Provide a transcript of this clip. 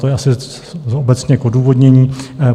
To je asi obecně k odůvodnění.